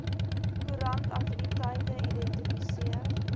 koerant aktiwiteite identifiseer